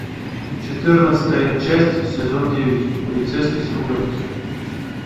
четырнадцатая часть сезон девять полицейский с рублевки